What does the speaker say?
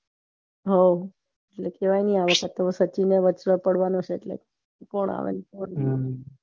હઉ એ કેવાય ને વચે પડવાનું છે એટલે કોણ આવે